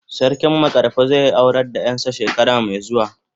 Sarki makarfi zai aurar da yar sa shekara mai zuwa.